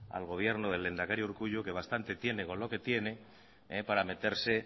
al gobierno del lehendakari urkullu que bastante tiene con lo que tiene para meterse